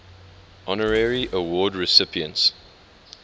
honorary award recipients